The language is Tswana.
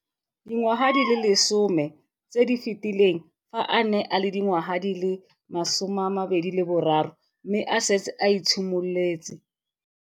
Dingwaga di le 10 tse di fetileng, fa a ne a le dingwaga di le 23 mme a setse a itshimoletse.